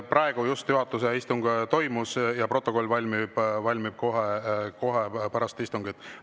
Praegu just juhatuse istung toimus ja protokoll valmib kohe pärast istungit.